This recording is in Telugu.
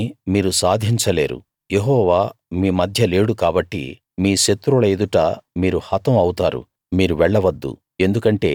దాన్ని మీరు సాధించ లేరు యెహోవా మీ మధ్య లేడు కాబట్టి మీ శత్రువుల ఎదుట మీరు హతం అవుతారు మీరు వెళ్ళవద్దు